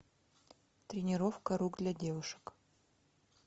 тренировка рук для девушек